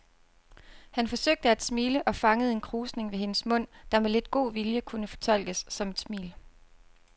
Han forsøgte at smile og fangede en krusning ved hendes mund, der med lidt god vilje kunne fortolkes som et smil.